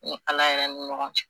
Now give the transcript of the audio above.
Ni Ala yɛrɛ ni ɲɔgɔn cɛ